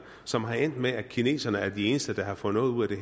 som er endt med at kineserne er de eneste der har fået noget ud af